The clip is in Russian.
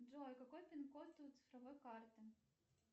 джой какой пин код у цифровой карты